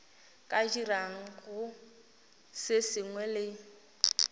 ka dirago se sengwe le